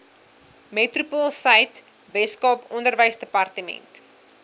metropoolsuid weskaap onderwysdepartement